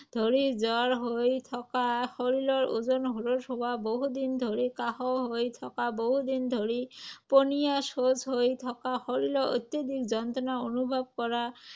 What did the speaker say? ধৰি জ্বৰ হৈ থকা, শৰীৰৰ ওজন হ্ৰাস হোৱা, বহুদিন ধৰি কাহ হৈ থকা, বহুদিন ধৰি পনীয়া শৌচ হৈ থকা, শৰীৰত অত্যধিক যন্ত্ৰণা অনুভৱ কৰা